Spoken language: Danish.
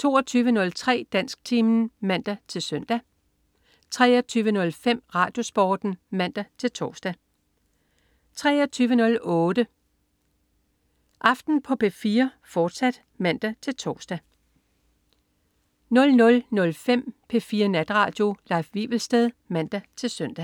22.03 Dansktimen (man-søn) 23.05 RadioSporten (man-tors) 23.08 Aften på P4, fortsat (man-tors) 00.05 P4 Natradio. Leif Wivelsted (man-søn)